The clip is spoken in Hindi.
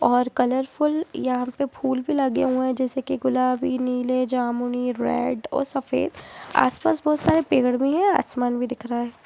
और कलरफुल यहां पर फूल भी लगे हुए हैं जैसे की गुलाबी नीले जामुनी रेड और सफेद आस पास बहुत सारे पेड़ भी हैं और आसमान भी दिख रहा है।